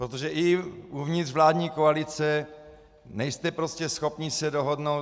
Protože i uvnitř vládní koalice nejste prostě schopni se dohodnout.